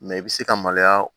Mɛ i bɛ se ka maloya